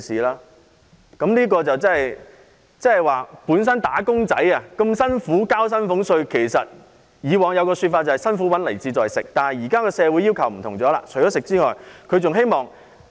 "打工仔"辛苦工作並繳交薪俸稅，以往他們都說"辛苦搵來自在食"，但他們現時的要求已不一樣。